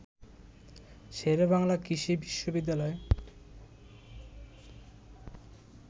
শেরেবাংলা কৃষি বিশ্ববিদ্যালয়